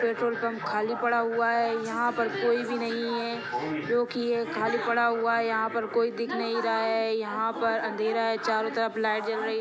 petrol pump खाली पड़ा हुआ है यहाँ पर कोई भी नही है जो की ये खाली पड़ा हुआ है यहाँ पर कोई दिख नहीं रहा है यहाँ पर अंधेरा है चारो तरफ लाइट जल रही--